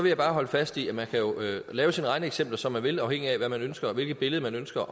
jeg bare holde fast i at man jo kan lave sine regneeksempler som man vil afhængigt af hvad man ønsker og hvilket billede man ønsker